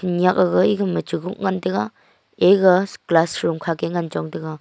nyah gaga egama chu huk ngan taiga ega class room kha ke ngan chong taiga.